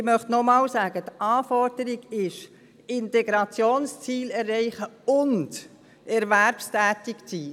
Ich möchte noch einmal Folgendes sagen: Die Anforderung ist, die Integrationsziele zu erreichen und erwerbstätig zu sein.